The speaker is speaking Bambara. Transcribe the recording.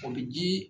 O bɛ ji